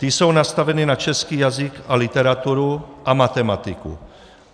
Ty jsou nastaveny na český jazyk a literaturu a matematiku.